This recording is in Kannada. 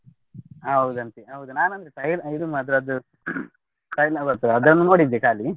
ಹೌದಂತೆ ಹೌದು ನಾನು ಇದು ಅದ್ರದ್ದು ಅದನ್ನು ನೋಡಿದೆ ಖಾಲಿ.